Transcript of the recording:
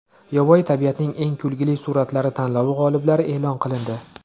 Yovvoyi tabiatning eng kulgili suratlari tanlovi g‘oliblari e’lon qilindi .